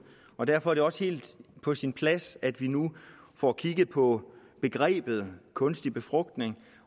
og derfor er det også helt på sin plads at vi nu får kigget på begrebet kunstig befrugtning